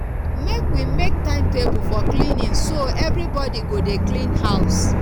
make we make timetable for cleaning so everybodi go dey clean house